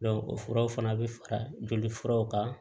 o furaw fana bɛ fara joli furaw kan